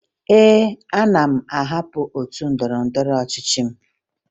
Ee, ana m ahapụ otu ndọrọndọrọ ọchịchị m